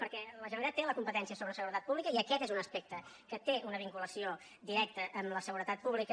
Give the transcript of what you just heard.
perquè la generalitat té la competència sobre seguretat pública i aquest és un aspecte que té una vinculació directa amb la seguretat pública